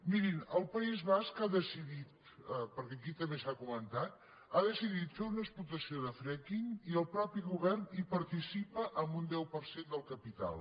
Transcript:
mirin el país basc ha decidit perquè aquí també s’ha comentat fer una explotació de fracking i el mateix govern hi participa amb un deu per cent del capital